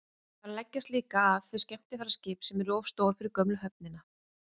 þar leggja líka að þau skemmtiferðaskip sem eru of stór fyrir gömlu höfnina